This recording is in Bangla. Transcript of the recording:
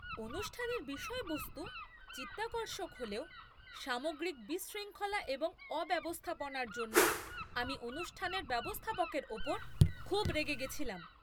অনুষ্ঠানের বিষয়বস্তু চিত্তাকর্ষক হলেও সামগ্রিক বিশৃঙ্খলা এবং অব্যবস্থাপনার জন্য আমি অনুষ্ঠানের ব্যবস্থাপকের উপর খুব রেগে গেছিলাম।